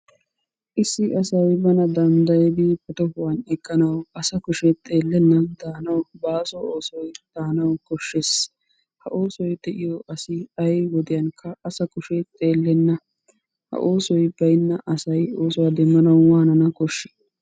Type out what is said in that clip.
Issi asy bana danddayidi ba tohuwan eqqanawu asa kushe xeellennan daanawu baaso oosoy daanawu koshshes. Ha oosoy de"iyo asi ayi woddiyankka asa kushe xeellenna. Ha oosoy bayinna asay oosuwa doommanawu waanana koshshii?